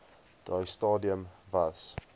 daai stadium was